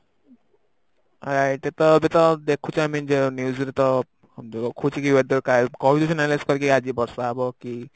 ଏବେ ତ ଦେଖୁଚ ଏମିତି news ରେ ତ କହିଦୌଛି Analize କରିକି ଆଜି ବର୍ଷା ହବ କି